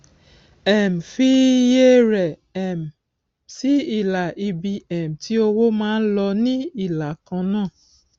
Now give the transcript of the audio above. um fi iye rẹ um sí ilà ibi um tí owó máa ń lọ ní ìlà kan náà